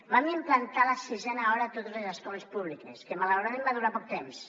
vam implantar la sisena hora a totes les escoles públiques que malauradament va durar poc temps